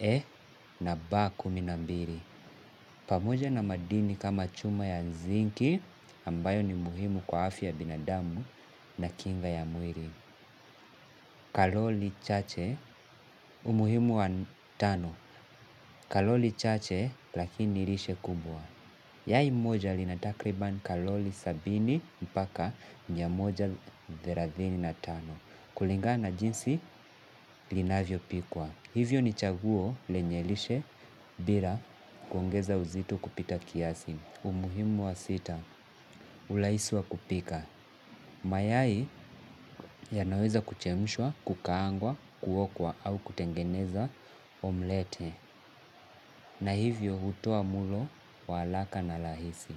E na B kumi na mbili. Pamoja na madini kama chuma ya zinki ambayo ni muhimu kwa afya ya binadamu na kinga ya mwili. Kalori chache umuhimu wa tano. Kalori chache lakini lishe kubwa. Yai moja lina takriban kalori sabini mpaka mia moja thelathini na tano. Kulingana na jinsi linavyopikwa. Hivyo ni chaguo lenye lishe bila kuongeza uzito kupita kiasi. Umuhimu wa sita, urahisi wa kupika. Mayai yanaweza kuchemshwa, kukaangwa, kuokwa au kutengeneza omlete. Na hivyo hutoa mlo wa haraka na rahisi.